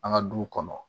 An ka duw kɔnɔ